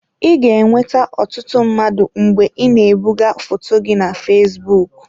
I ga-enweta ọtụtụ mmadụ mgbe ị na-ebugo foto gị na fesbụụk.